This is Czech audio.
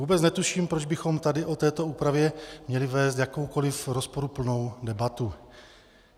Vůbec netuším, proč bychom tady o této úpravě měli vést jakoukoliv rozporuplnou debatu.